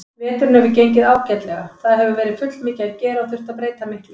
Veturinn hefur gengið ágætlega, það hefur verið fullmikið að gera og þurft að breyta miklu.